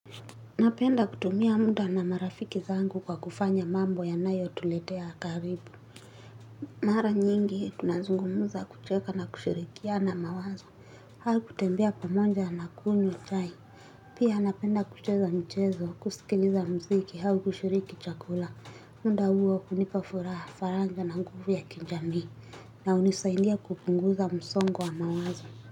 Napenda kutumia mda na marafiki zangu kwa kufanya mambo yanayo tuletea karibu. Mara nyingi tunazungumuza kucheka na kushirikiana mawazo. Hau kutembea pamoja na kunywachai. Pia napenda kucheza mchezo kusikiliza mziki hau kushiriki chakula. Mda huo hunipa furaha faraja na nguvu ya kinja mii. Na hunisaidia kupunguza msongo wa mawazo. Kwa hivyo.